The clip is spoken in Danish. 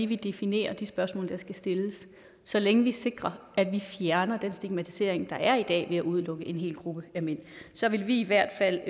vi definerer de spørgsmål der skal stilles så længe vi sikrer at vi fjerner den stigmatisering der er i dag ved at udelukke en hel gruppe af mænd så vil vi i hvert fald